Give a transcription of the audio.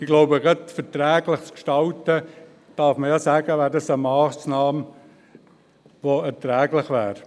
Ich glaube, gerade verträglich zu gestalten – dazu kann man sagen, dass es eine erträgliche Massnahme wäre.